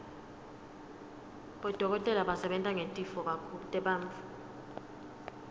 bodokotela basebenta ngetitfo tebantfu